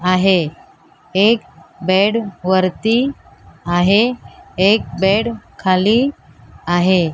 आहे एक बेड वरती आहे एक बेड खाली आहे.